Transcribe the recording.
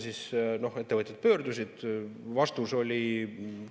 Siis ettevõtjad pöördusid.